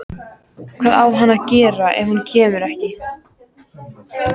Hvað á hann að gera ef hún kemur ekki?